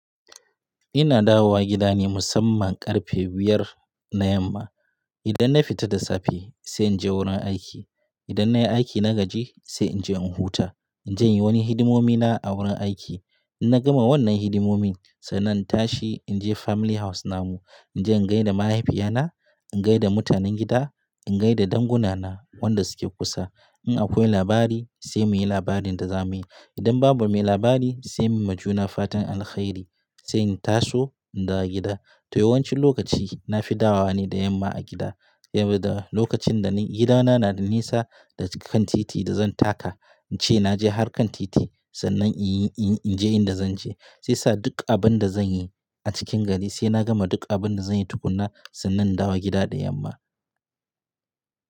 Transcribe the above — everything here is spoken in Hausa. Ina dawowa gida ne musamman ƙarfe biyar na yamma. Idan na fita da safe sai in je wurin aiki. Idan nayi aiki na gaji sai inje in huta. Inje inyi wani hidimomi na a wurin aiki. Inna gama wannan hidimomin, sannan in tashi inje family house namu. Inje in gaida mahaifiyana, in gaida mutanen gida, in gaida dangunana wanda suke kusa. In akwai labari sai muyi labarin da zamuyi. Idan babu mai labari, sai muyi ma juna fatan alkhairi, sai in taso in dawo gida. To, yawancin lokaci nafi dawowa ne da yamma a gida. Saboda, lokacin da gidana na da nisa da kan titi da zan taka, in ce naje harkan titi, sannan inyi, inje inda zanje. Sai sa duk abinda zanyi a cikin gari, sai na gama duk abinda zanyi tukunna, sannan in dawo gida da yamma.